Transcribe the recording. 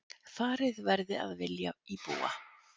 Farið verði að vilja íbúa